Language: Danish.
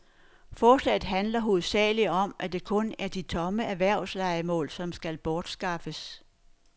Forslaget handler hovedsagelig om, at det kun er de tomme erhvervslejemål, som skal bortskaffes.